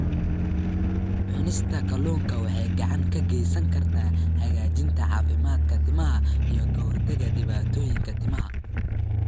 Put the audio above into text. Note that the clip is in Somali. Cunista kalluunka waxay gacan ka geysan kartaa hagaajinta caafimaadka timaha iyo ka hortagga dhibaatooyinka timaha.